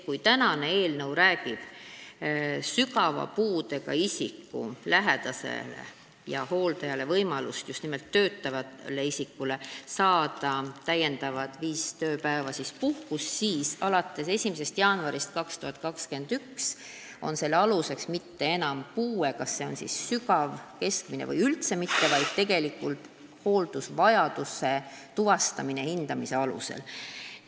Kui täna arutatav eelnõu räägib sellest, et sügava puudega isiku töötavale lähedasele või muule hooldajale antakse täiendavalt viis tööpäeva puhkust, siis alates 1. jaanuarist 2021 poleks selle aluseks mitte enam hooldatava puue – näiteks kas see on sügav või keskmine –, vaid hooldusvajaduse tuvastamine hindamise alusel.